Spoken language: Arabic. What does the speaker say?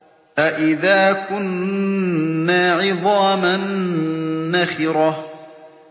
أَإِذَا كُنَّا عِظَامًا نَّخِرَةً